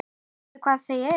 Veistu hvar þau eru?